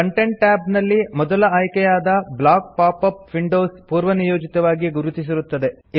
content tab ನಲ್ಲಿ ಮೊದಲ ಆಯ್ಕೆಯಾದ ಬ್ಲಾಕ್ pop ಅಪ್ ವಿಂಡೋಸ್ ಪೂರ್ವನಿಯೋಜಿತವಾಗಿ ಗುರುತಿಸಿರುತ್ತದೆ